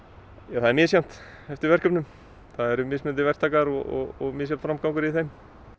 það er misjafnt eftir verkefnum það eru mismunandi verktakar og misjafn framgangur í þeim